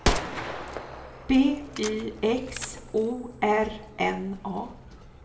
B Y X O R N A